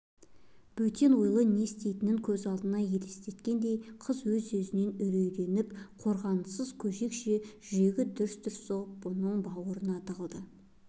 бөтен ойлы не істейтін көз алдына елестегендей қыз өз-өзінен үрейленіп қорғансыз көжекше жүрегі дүрс-дүрс соғып бұның бауырына тығылды